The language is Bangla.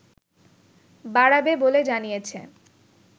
বাড়াবে বলে জানিয়েছে